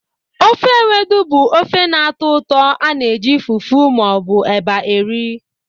Ofe Ewedu bụ ofe na-atọ ụtọ ana eji fufu ma ọ bụ eba eri.